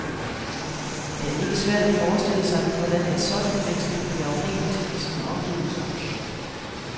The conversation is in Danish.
Det er ikke svært at forestille sig, hvordan et sådant menneske kan blive afhængigt af sine omgivelser.